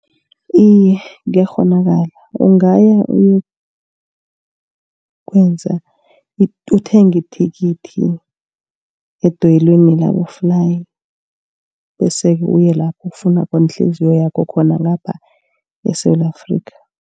Iye kuyakghonakala ungaya uyokwenza, uthenge ithikithi edoyilweni laboflayi bese-ke uye lapho ukufuna khona ihliziyo yakho khona ngapha eSewula Afrika.